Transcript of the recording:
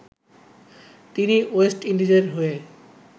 তিনি ওয়েস্ট ইন্ডিজের হয়ে